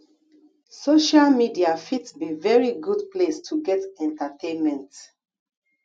social media fit be very good place to get entertainment